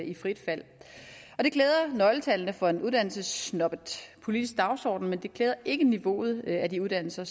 i frit fald det klæder nøgletallene for en uddannelsessnobbet politisk dagsorden men det klæder ikke niveauet af de uddannelser